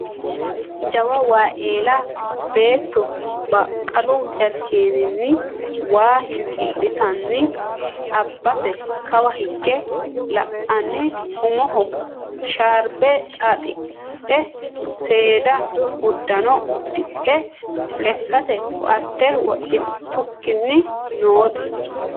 jawa wayi eela beetto baqqalu jarkeeninni waa hinkiiltanni abase kawa higge la'anni umoho sharbe xaaxidhe seeda uddano uddidhe lekkate ko"atte wodhitukkinni noote